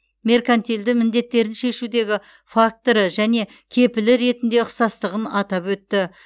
меркантильді міндеттерін шешудегі факторы және кепілі ретінде ұқсастығын атап өтті